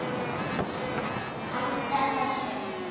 Hætta þessu!